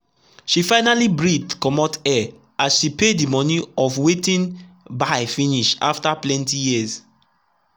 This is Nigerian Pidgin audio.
she finally breathe correct air as she pay the money of wetin buy finish after plenty years.